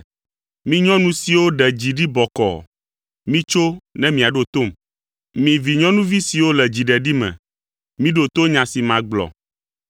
Mi nyɔnu siwo ɖe dzi ɖi bɔkɔɔ, mitso ne miaɖo tom. Mi vinyɔnuvi siwo le dziɖeɖi me. Miɖo to nya si magblɔ!